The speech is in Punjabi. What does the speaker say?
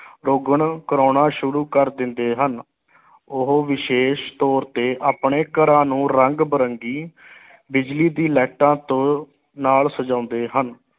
ਰੋਗਨ ਕਰਾਉਣਾਂ ਸ਼ੁਰੂ ਕਰ ਦਿੰਦੇ ਹਨ ਉਹ ਵਿਸ਼ੇਸ਼ ਤੌਰ ਤੇ ਆਪਣੇ ਘਰਾਂ ਨੂੰ ਰੰਗ ਬਿਰੰਗੀ ਬਿਜਲੀ ਦੀ ਲਾਈਟਾਂ ਤੋਂ ਨਾਲ ਸਜਾਉਂਦੇ ਹਨ।